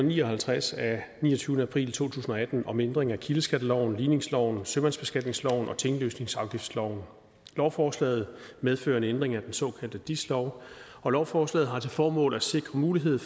ni og halvtreds af niogtyvende april to tusind og atten om ændring af kildeskatteloven ligningsloven sømandsbeskatningsloven og tinglysningsafgiftsloven lovforslaget medfører en ændring af den såkaldte dis lov og lovforslaget har til formål at sikre mulighed